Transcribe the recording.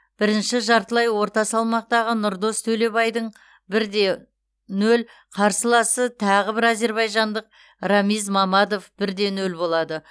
бірінші жартылай орта салмақтағы нұрдос төлебайдың бір де нөл қарсыласы тағы бір әзербайжандық рамиз мамадов бір де нөл болады